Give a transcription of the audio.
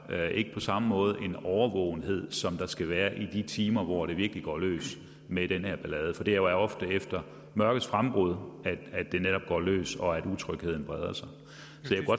ikke på samme måde en årvågenhed som der skal være i de timer hvor det virkelig går løs med den her ballade for det er ofte efter mørkets frembrud at det netop går løs og utrygheden breder sig